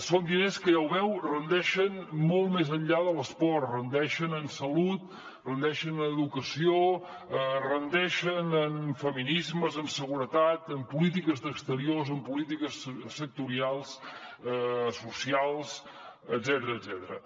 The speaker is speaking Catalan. són diners que ja ho veu rendeixen molt més enllà de l’esport rendeixen en salut rendeixen en educació rendeixen en feminismes en seguretat en polítiques d’exteriors en polítiques sectorials socials etcètera